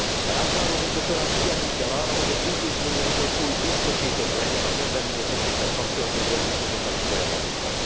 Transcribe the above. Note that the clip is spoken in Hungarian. A ránk váró munka során figyelnünk kell arra, hogy az intézményi egyensúly biztosított legyen a kezdeményezésekkel kapcsolatos döntéshozatali folyamatokban.